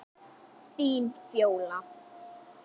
Þín, Fjóla.